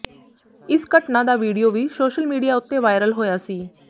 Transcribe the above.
ਇਸ ਘਟਨਾ ਦਾ ਵੀਡੀਓ ਵੀ ਸੋਸ਼ਲ ਮੀਡੀਆ ਉੱਤੇ ਵਾਇਰਲ ਹੋਇਆ ਸੀ